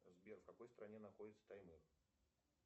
сбер в какой стране находится таймыр